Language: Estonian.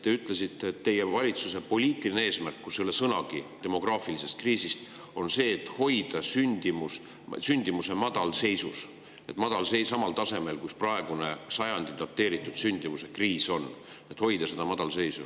Te ütlesite, et teie valitsuse poliitiline eesmärk – mille hulgas ei ole sõnagi demograafilisest kriisist – on hoida sündimus madalseisus ehk hoida see samal tasemel nagu praegu, kui on dateeritud sajandi sündimuskriis, hoida seda madalseisu.